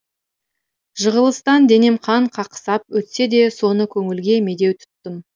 жығылыстан денем қан қақсап өтсе де соны көңілге медеу тұттым